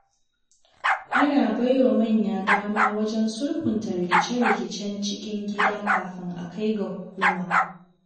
Ana baiwa manya dama wajen sulhunta rikice-rikicen cikin gida kafin a kai ga hukuma.